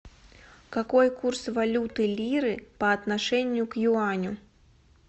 какой курс валюты лиры по отношению к юаню